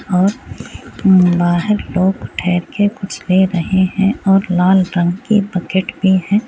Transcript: और मम्म बाहर लोग बैठ के कुछ ले रहे है और लाल रंग की बकेट भी है।